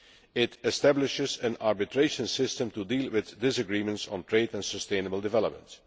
It establishes an arbitration system to deal with disagreements on trade and sustainable development.